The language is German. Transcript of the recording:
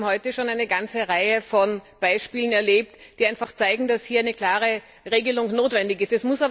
Wir haben heute schon eine ganze Reihe von Beispielen erlebt, die zeigen, dass hier eine klare Regelung notwendig ist.